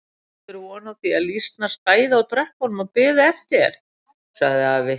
Áttirðu von á því að lýsnar stæðu á tröppunum og biðu eftir þér? sagði afi.